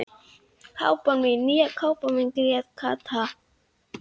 Ég tel, að það beri þó að styðja og efla,